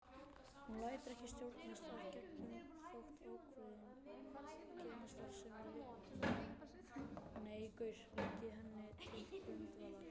Hún lætur ekki stjórnast af genum þótt ákveðin genastarfsemi liggi henni til grundvallar.